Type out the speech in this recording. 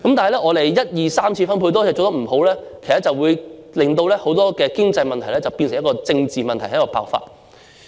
不過，當一次、二次及三次分配都做得不理想時，其實會令很多經濟問題變成政治問題，然後爆發。